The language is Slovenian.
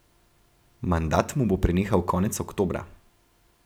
Mandat mu bo prenehal konec oktobra.